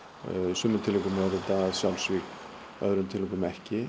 í sumum tilvikum eru þetta sjálfsvíg í öðrum tilvikum ekki